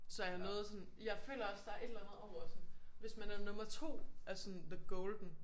Så jeg nåede sådan jeg føler også der er et eller andet over sådan hvis man er nummer 2 er sådan the golden